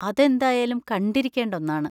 അതെന്തായാലും കണ്ടിരിക്കേണ്ട ഒന്നാണ്.